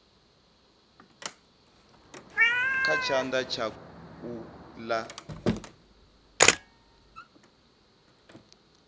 kha tshanḓa tsha u ḽa